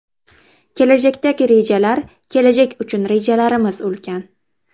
Kelajakdagi rejalar Kelajak uchun rejalarimiz ulkan.